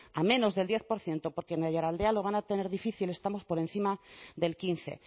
a menos del diez por ciento porque en aiaraldea lo van a tener difícil estamos por encima del quince